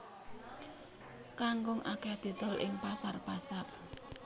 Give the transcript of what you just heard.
Kangkung akèh didol ing pasar pasar